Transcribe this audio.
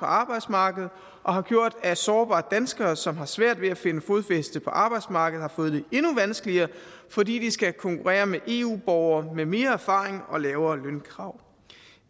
arbejdsmarkedet og har gjort at sårbare danskere som har svært ved at finde fodfæste på arbejdsmarkedet har fået det endnu vanskeligere fordi de skal konkurrere med eu borgere med mere erfaring og lavere lønkrav